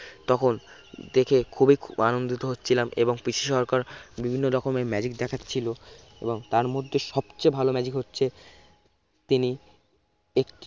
তখন দেখে খুবই আনন্দিত হয়েছিলাম এবং পিসি সরকার বিভিন্ন রকমের magic দেখাচ্ছিলো এবং তার মধ্যে সবচেয়ে ভালো magic হচ্ছে তিনি একটি